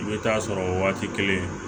I bɛ taa sɔrɔ o waati kelen